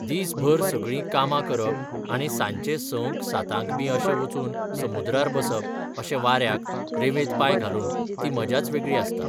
दीस भर सगळीं कामा करप आनी सांजचें संक सातांक बी अशें वचून समुद्रार बसप अशें वाऱ्याक, रेवेंत पांय घालून, ती मजाच वेगळी आसता.